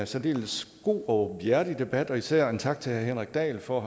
særdeles god og åbenhjertig debat og især en tak til herre henrik dahl for at